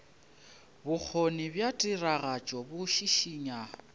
bokgoni bja tiragatšo bo šišinya